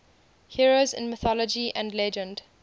heroes in mythology and legend